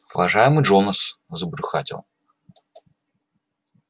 уважаемый джонас забрюхатил